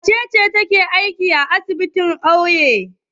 Wace ce take aikin asibiti a ƙauye?